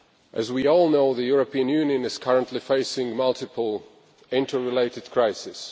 As we all know, the European Union is currently facing multiple interrelated crises.